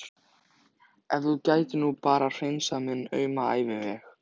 Ef þú gætir nú bara hreinsað minn auma æviveg.